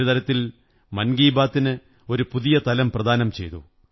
ഒരു തരത്തിൽ മൻ കീ ബാത്തിന് ഒരു പുതിയ തലം പ്രദാനം ചെയ്തു